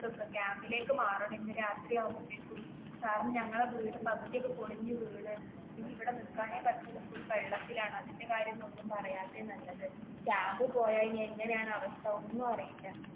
വെക്കുവ camp ലേക്ക് മാറണം ഇന്ന് രാത്രി ആകുമ്പോഴേക്കും കാരണം ഞങ്ങളുടെ വീട് പകുതി ഒക്കെ പൊളിഞ്ഞു വീഴാണ് ഇനി ഇവിടെ നിക്കാനേ പറ്റൂല full വെള്ളത്തിലാണ്, അതിന്റെ കാര്യം ഒന്നും പറയാത്തെ നല്ലത് camp ൽ പോയ ഇനി എങ്ങനെയാണു അവസ്ഥ ഒന്നും അറിയില്ല.